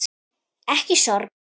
Ekki sorg.